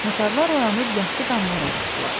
Tatarlar oyanıb yasdı damlara çıxdılar.